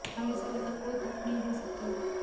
हम इसे लेकर कोई तर्क नहीं दे सकते